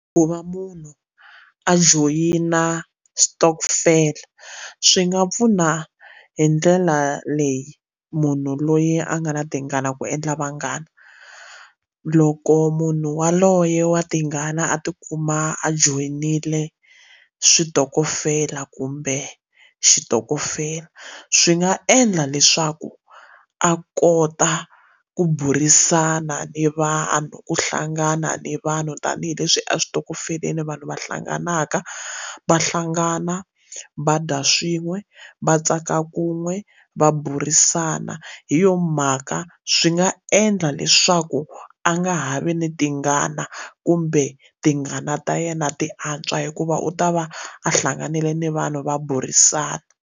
Ku va munhu a joyina switokofela swi nga pfuna hi ndlela leyi munhu loyi a nga na tingana ku endla vanghana loko munhu waloye wa tingana a ti kuma a joyinile switokofela kumbe xitokofela swi nga endla leswaku a kota ku burisana ni vanhu ku hlangana ni vanhu tanihileswi eswitokofeleni vanhu va hlanganaka va hlangana va dya swin'we va tsaka kun'we va burisana hi yo mhaka swi nga endla leswaku a nga ha vi ni tingana kumbe tingana ta yena ti antswa hikuva u ta va a hlanganile ni vanhu va burisana.